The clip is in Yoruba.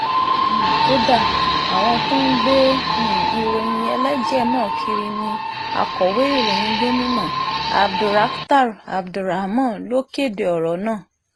um kódà àwọn tó ń gbé um ìròyìn ẹlẹ́jẹ̀ náà kiri ní akọ̀wé ìròyìn gomina abdulrakhtar abdulrahman ló kéde ọ̀rọ̀ náà